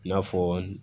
I n'a fɔ